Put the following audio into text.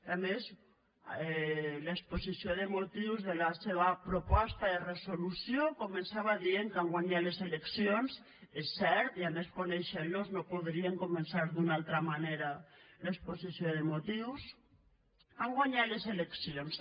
a més l’exposició de motius de la seva proposta de resolució començava dient que han guanyat les eleccions és cert i a més coneixent los no podrien començar d’una altra manera l’exposició de motius han guanyat les eleccions